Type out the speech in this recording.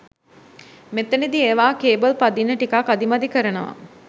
මෙතනදි ඒවා කේබල් පදින්න ටිකක් අදිමදි කරනවා.